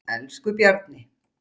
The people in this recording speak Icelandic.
Elsku Bjarni.